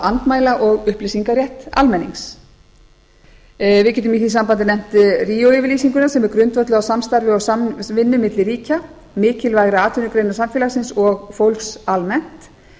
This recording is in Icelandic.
andmæla og upplýsingarétt almennings við getum í því sambandi efnt ríóyfirlýsinguna sem er grundvölluð á samstarfi og samvinnu milli ríkja mikilvægra atvinnugreina samfélagsins og fólks almennt